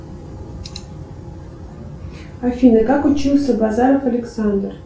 афина как учился базаров александр